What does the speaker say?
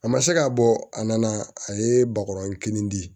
A ma se ka bɔ a nana a ye bakɔrɔnin di